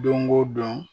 Don o don